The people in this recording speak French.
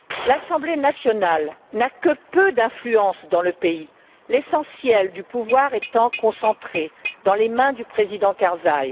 L'Assemblée nationale n'a que peu d'influence dans le pays, l'essentiel du pouvoir étant concentré dans les mains du président Karzaï.